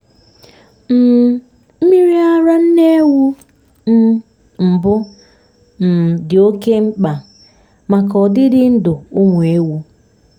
um mmiri ara nne ewu um mbụ um dị oke mkpa maka ọdịdị ndụ ụmụ ewu.